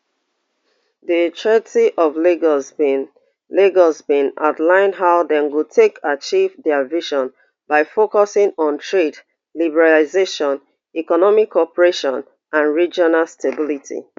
di treaty of lagos bin lagos bin outline how dem go take achieve dia vision by focusing on trade liberalisation economic cooperation and regional stability